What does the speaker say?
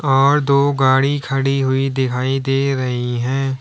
और दो गाड़ी खड़ी हुई दिखाई दे रही है।